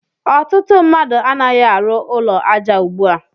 Ọtụtụ mmadụ a naghi arụ ụlọ aja ugbua.